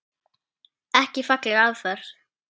Ekki falleg aðferð.